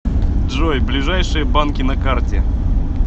джой ближайшие банки на карте